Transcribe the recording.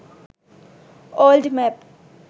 old map